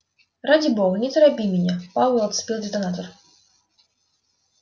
ради бога не торопи меня пауэлл отцепил детонатор